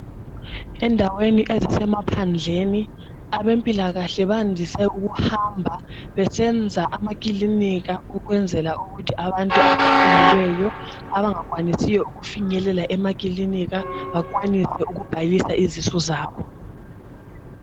Endaweni ezisemaphandleni abezempilakahle bajayele ukuhamba besenza amakiliniki ukuze abantu abakhulelweyo benelise ukubhala izisu zabo.